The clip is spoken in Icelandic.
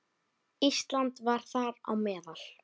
Ísland var þar á meðal.